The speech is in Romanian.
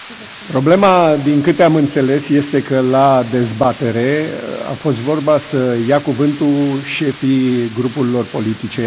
Problema, din câte am înțeles, este că, la dezbatere, a fost vorba să ia cuvântul șefii grupurilor politice.